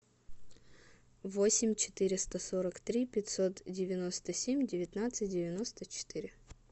восемь четыреста сорок три пятьсот девяносто семь девятнадцать девяносто четыре